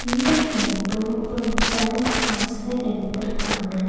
இந்த போட்டோ ஒரு டான்ஸ் கிளாஸ்ல எடுத்துருக்காங்க.